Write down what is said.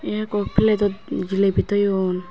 ye ekko plate dot jileybi toyun.